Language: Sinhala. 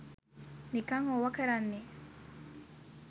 නිකන් ඔවා කරන්නේ